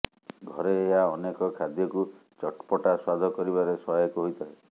ଘରେ ଏହା ଅନେକ ଖାଦ୍ୟକୁ ଚଟ୍ପଟା ସ୍ୱାଦ କରିବାରେ ସହାୟକ ହୋଇଥାଏ